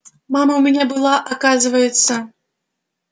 мама у меня была оказывается